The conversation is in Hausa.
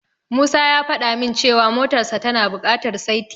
Musa ya fada min cewa motarsa tana bukatar saiti.